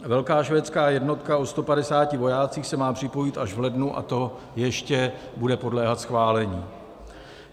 Velká švédská jednotka o 150 vojácích se má připojit až v lednu, a to ještě bude podléhat schválení.